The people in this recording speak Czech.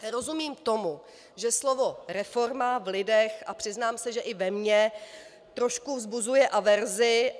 Rozumím tomu, že slovo reforma v lidech, a přiznám se, že i ve mně, trošku vzbuzuje averzi.